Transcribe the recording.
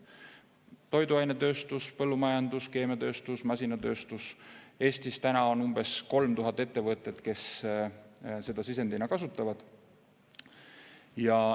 Toiduainetööstus, põllumajandus, keemiatööstus, masinatööstus – Eestis on umbes 3000 ettevõtet, kes gaasi sisendina kasutavad.